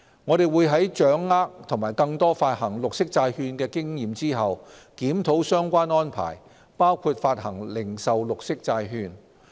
我們會在掌握更多發行綠色債券的經驗後，檢討相關安排包括發行零售綠色債券。